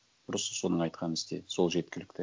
просто соның айтқанын істе сол жеткілікті